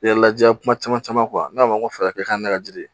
Yɛrɛ lajɛ kuma caman caman ne b'a fɔ n ko fɛ ka kɛ ne ka jiri ye